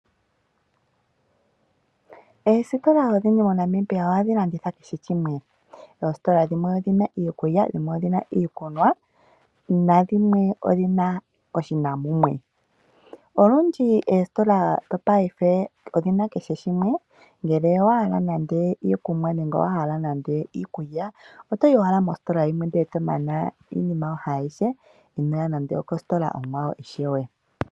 Oostola odhindji moNamibia ohadhi landitha kehe shimwe, oostola dhimwe odhina iikulya, dhimwe odhina iikunwa, nadhimwe odhina oshina mumwe. Olundji oostola dhopaife odhina kehe shimwe ngele owa hala nande iikunwa nenge owa hala nande iikulya otoyi owala mostola yimwe nde tomana iinima yoye ayihe inoya koostola dhimwe ishewe.